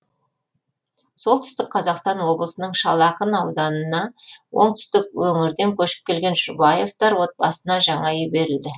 солтүстік қазақстан облысының шал ақын ауданына оңтүстік өңірден көшіп келген жұбаевтар отбасына жаңа үй берілді